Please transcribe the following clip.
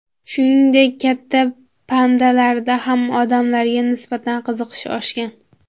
Shuningdek, katta pandalarda ham odamlarga nisbatan qiziqish oshgan.